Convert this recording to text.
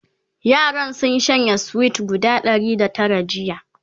yaran sun shanye sweet guda Ɗari da Tara jiya